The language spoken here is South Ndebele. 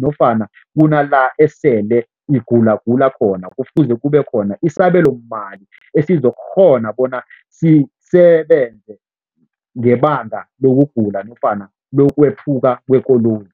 nofana kunala esele igulagula khona, kufuze kube khona isabelomali esizokukghona bona sisebenze ngebanga lokugula nofana lokwephuka kwekoloyi.